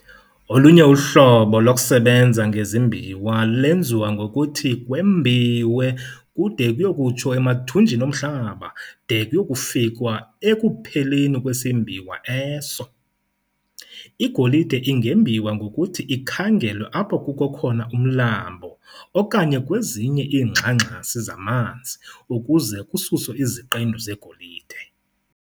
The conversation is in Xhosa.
Olunye uhlobo lokusebenza ngezimbiwa lwenziwa ngokuthi kwembiwe kude kuyo kutsho emathumnjini omhlaba de kuye kufikwa "ekupheleni kwesimbiwa eso". Igolide ingembiwa ngokuthi ikhangelwe apho kukho khona umlambo okanye kwezinye iingxangxasi zamanzi ukuze kususwe iqendu zegolide.